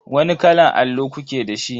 Wani kalan allo kuke da shi?